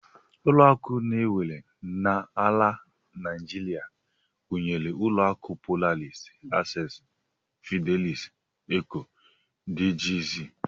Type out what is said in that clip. Ụlọakụ e nwere n'ala Naijiria gụnyere ụlọakụ Polaris, access, Fidelity, Eco, dgz